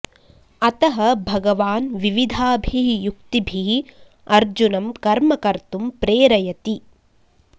अतः भगवान् विविधाभिः युक्तिभिः अर्जुनं कर्म कर्तुं प्रेरयति